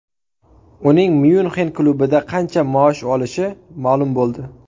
Uning Myunxen klubida qancha maosh olishi ma’lum bo‘ldi.